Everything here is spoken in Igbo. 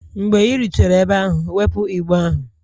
Mgbe ị rutere ebe ahụ, wepụ igbe ahụ!